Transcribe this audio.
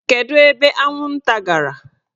Kedu ebe anwụnta gara?